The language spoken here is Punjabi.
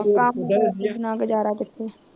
ਬਿਨਾਂ ਗੁਜਾਰਾ ਕਿੱਥੇ